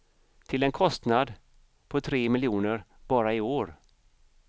Till en kostnad på tre miljoner bara i år.